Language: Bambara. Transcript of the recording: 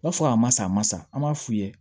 B'a fɔ a ma sa a ma sa an b'a f'u ye